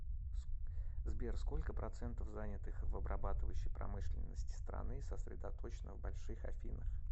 сбер сколько процентов занятых в обрабатывающей промышленности страны сосредоточено в больших афинах